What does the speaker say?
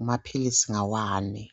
amaphilisi lawa ngawani